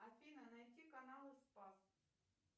афина найди канал спас